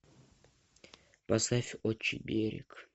поставь отчий берег